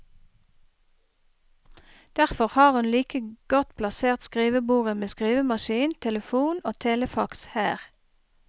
Derfor har hun like godt plassert skrivebordet med skrivemaskin, telefon og telefax her.